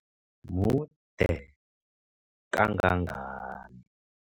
Mude kangangani?